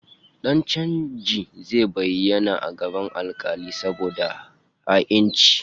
Dan chanjin zai bayyana a gaban alkali saboda ha'inci